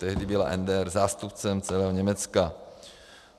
Tehdy byla NDR zástupcem celého Německa.